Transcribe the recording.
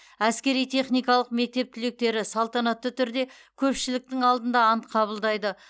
әскери техникалық мектеп түлектері салтанатты түрде көпшіліктің алдында ант қабылдайды